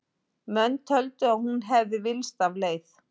Menn töldu að hún hefði villst af leið.